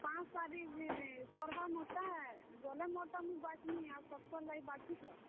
ପାଞ୍ଚ ତାରିଖ ଯେଇ ସର୍ ବା ମୋର ଟା। ଗଲେ ମୋର୍ ଟା ମୁଇଁ ବାଛ୍ ମି ଆଉ ସବକର୍ ଲାଗି ବାଛିଥ।